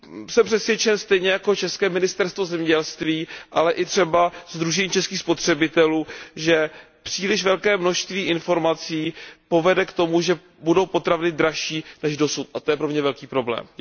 Jsem přesvědčen, stejně jako české Ministerstvo zemědělství, ale i třeba Sdružení českých spotřebitelů, že příliš velké množství informací povede k tomu, že budou potraviny dražší než dosud, a to je pro mě velký problém.